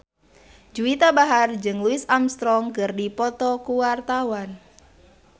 Juwita Bahar jeung Louis Armstrong keur dipoto ku wartawan